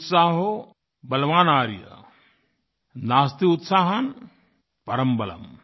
उत्साहो बलवानार्य नास्त्युत्साहात्परं बलम्